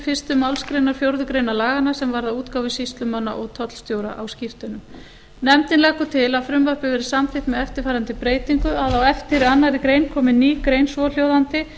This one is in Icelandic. fyrstu málsgrein fjórðu grein laganna sem varða útgáfu sýslumanna og tollstjóra á skírteinum nefndin leggur til að frumvarpið verði samþykkt með eftirfarandi breytingu á eftir annarri grein komi ný grein svohljóðandi